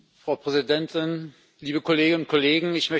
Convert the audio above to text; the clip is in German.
Frau Präsidentin, liebe Kolleginnen und Kollegen!